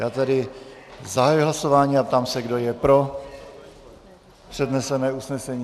Já tedy zahajuji hlasování a ptám se, kdo je pro přednesené usnesení.